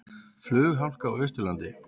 Flughálka á Austurlandi